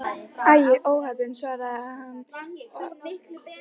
Æi, óheppin svaraði hann að bragði.